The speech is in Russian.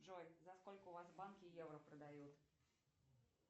джой за сколько у вас в банке евро продают